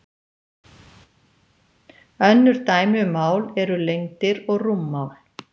önnur dæmi um mál eru lengdir og rúmmál